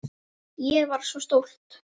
Ég var svo stolt.